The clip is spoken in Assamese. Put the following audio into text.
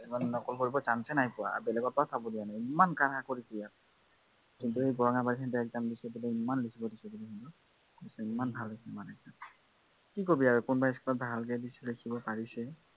এইবাৰ নকল কৰিবৰ chance য়েই পোৱা নাই। বেলেগৰ পৰাও চাব দিয়া নাই বোলে। ইমান কাঢ়া কৰিছে। বৰঙাবাৰীত exam দিছে, ইমান লিখিব দিছে বোলে তাত, পৰীক্ষা ইমান ভাল হৈছে মাানে, কি কবি আৰু কিছুমান school ত ভালকে দিছে, লিখিব পাৰিছে